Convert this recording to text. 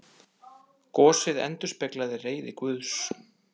Gosið endurspeglaði reiði Guðs